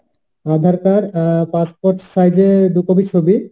aadhaar card, ah passport size এর দু copy ছবি